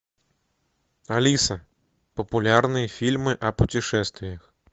алиса популярные фильмы о путешествиях